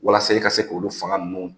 Walasa ka se k' fanga ninnu